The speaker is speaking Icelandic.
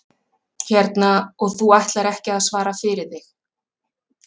Hérna, og þú ætlar ekki að svara fyrir þig?